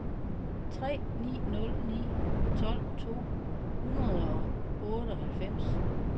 tre ni nul ni tolv to hundrede og otteoghalvfems